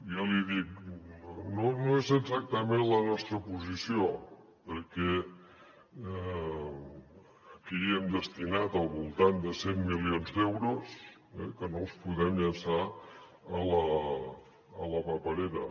jo l’hi dic no és exactament la nostra posició perquè aquí hi hem destinat al voltant de cent milions d’euros que no els podem llançar a la paperera